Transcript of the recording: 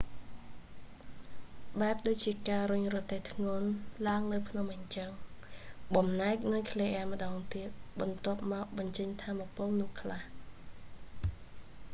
បែបដូចជាការរុញរទេះធ្ងន់ឡើងលើភ្នំអីចឹង បំបែកនុយក្លេអ៊ែរម្តងទៀត បន្ទាប់មកបញ្ចេញថាមពលនោះខ្លះ